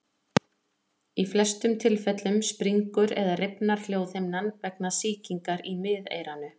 Í flestum tilfellum springur eða rifnar hljóðhimnan vegna sýkingar í miðeyranu.